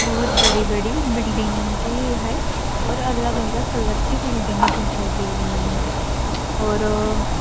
बहुत बड़ी बड़ी बिल्डींगे है और अलग अलग कलर की बिल्डींगे दिखाई दे रही है और अ --